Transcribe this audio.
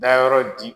Dayɔrɔ di